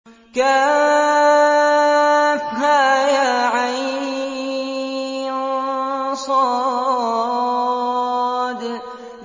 كهيعص